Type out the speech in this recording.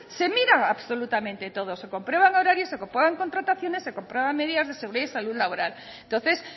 se mira absolutamente todo se comprueban horarios se comprueban contrataciones se comprueban medidas de seguridad y salud laboral entonces